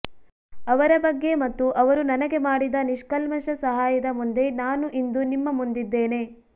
ಅವರ ಬಗ್ಗೆ ಮತ್ತು ಅವರು ನನಗೆ ಮಾಡಿದ ನಿಷ್ಕಲ್ಮಶ ಸಹಾಯದ ಮುಂದೆ ನಾನು ಇಂದು ನಿಮ್ಮ ಮುಂದಿದ್ದೇನೆ